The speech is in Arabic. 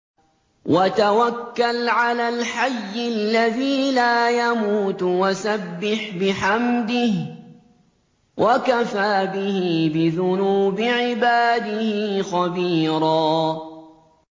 وَتَوَكَّلْ عَلَى الْحَيِّ الَّذِي لَا يَمُوتُ وَسَبِّحْ بِحَمْدِهِ ۚ وَكَفَىٰ بِهِ بِذُنُوبِ عِبَادِهِ خَبِيرًا